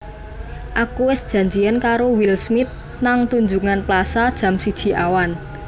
Aku wes janjian karo Will Smith nang Tunjungan Plaza jam siji awan